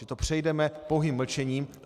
Že to přejdeme pouhým mlčením.